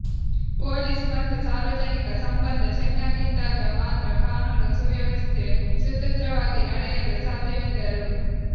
police ಮತ್ತು ಸಾರ್ವಜನಿಕ ಸಂಬಂಧ ಚೆನ್ನಾಗಿದ್ದಾಗ ಮಾತ್ರ ಕಾನೂನು ಸುವ್ಯವಸ್ಥೆ ಸುಸೂತ್ರವಾಗಿ ನಡೆಯಲು ಸಾಧ್ಯವೆಂದರು